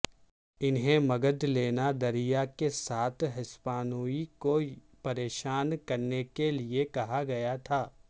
انہیں مگدلینا دریا کے ساتھ ہسپانوی کو پریشان کرنے کے لئے کہا گیا تھا